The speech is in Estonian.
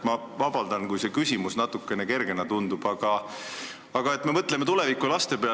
Ma palun vabandust, kui see küsimus natukene kergena tundub, aga mõtleme tuleviku ja laste peale.